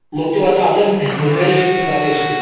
मग तू आत्ता आता कुठेशी मुंबईलायेस कि गावियेस तू?